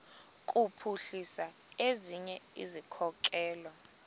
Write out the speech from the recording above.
kuphuhlisa ezinye izikhokelo